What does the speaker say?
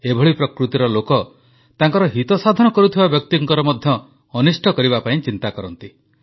ଏଭଳି ପ୍ରକୃତିର ଲୋକ ତାଙ୍କର ହିତସାଧନ କରୁଥିବା ବ୍ୟକ୍ତିଙ୍କର ମଧ୍ୟ ଅନିଷ୍ଟ କରିବା ପାଇଁ ଚିନ୍ତା କରନ୍ତି